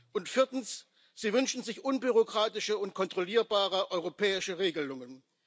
Und viertens Sie wünschen sich unbürokratische und kontrollierbare europäische Regelungen.